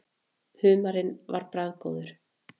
Humarinn var bragðgóður.